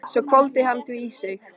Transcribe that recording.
Svo hvolfdi hann því í sig.